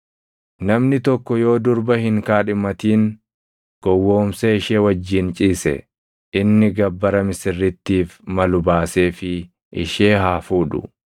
“Namni tokko yoo durba hin kaadhimatamin gowwoomsee ishee wajjin ciise, inni gabbara misirrittiif malu baaseefii ishee haa fuudhu.